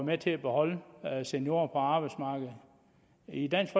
med til at beholde seniorer på arbejdsmarkedet i dansk